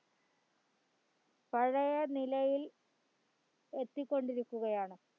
പഴയ നിലയിൽ എത്തികൊണ്ടിരിക്കുകയാണ്